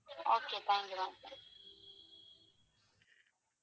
Okay thank you,